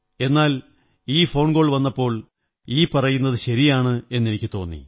എന്നാൽ ഈ phone call വന്നപ്പോൾ ഈ പറയുന്നതു ശരിയാണെന്ന് എനിക്കു തോന്നി